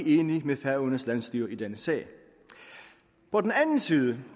enig med færøernes landsstyre i denne sag på den anden side